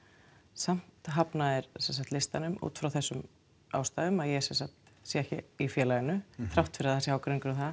samt hafna þeir listanum útfrá þessum ástæðum að ég sem sagt sé ekki í félaginu þrátt fyrir að það sé ágreiningur um það